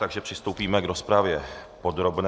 Takže přistoupíme k rozpravě podrobné.